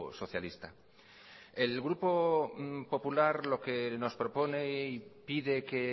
socialista el grupo popular lo que nos propone y pide que